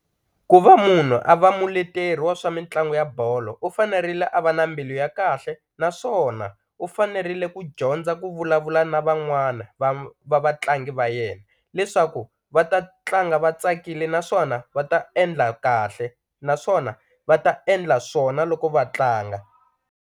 Ku va munhu a va muleteri wa swa mitlangu ya bolo u fanerile a va na mbilu ya kahle naswona u fanerile ku dyondza ku vulavula na van'wana va vatlangi va yena leswaku va ta tlanga va tsakile naswona va ta endla kahle naswona va ta endla swona loko va tlanga.